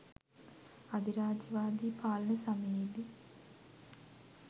අධිරාජ්‍යවාදී පාලන සමයේදී